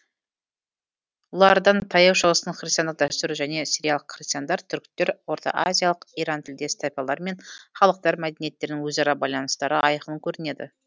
олардан таяу шығыстың христиандық дәстүрі және сириялық христиандар түріктер ортаазиялық иран тілдес тайпалар мен халықтар мәдениеттерінің өзара байланыстары айқын көрінеді